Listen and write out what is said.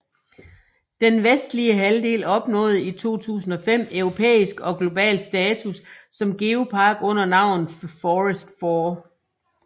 Den vestlige halvdel opnåede i 2005 europæisk og global status som geopark under navnet Fforest Fawr